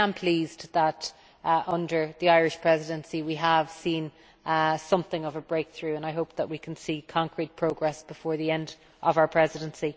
I am pleased that, under the Irish Presidency, we have seen something of a breakthrough, and I hope that we can see concrete progress before the end of our Presidency.